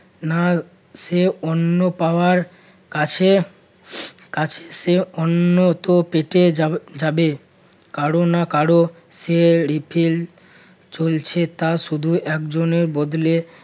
না সে অন্য পাওয়ার কাছে কাছে সে অন্যত্র পেতে যাব~ যাবে কারো না কারো সে refill চলছে তা শুধু একজনের বদলে